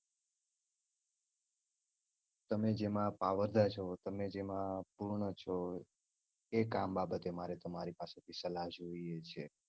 તમે જેમાં પાવરદાર છો તમે જેમાં પૂર્ણ છો. એ કામ બાબતે મારે તમારી પાસેથી સલાહ જોઈએ છે.